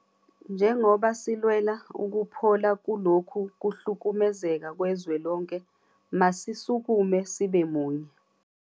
Njengoba silwela ukuphola kulokhu kuhlukumezeka kwezwelonke, masisukume sibe munye.